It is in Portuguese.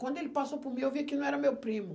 Quando ele passou por mim, eu vi que não era meu primo.